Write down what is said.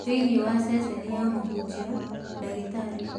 Thĩiniĩ wa ceceni ya Mũhunjia, ndagĩtarĩ